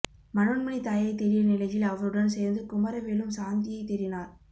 மனோன்மணி தாயை தேடிய நிலையில் அவருடன் சேர்ந்து குமரவேலும் சாந்தியை தேடினார்